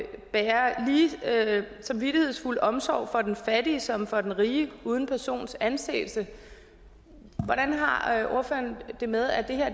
lige samvittighedsfuld omsorg for den fattige som for den rige uden persons anseelse hvordan har ordføreren det med at det her